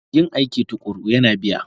Yin aiki tuƙuru yana biya